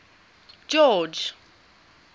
george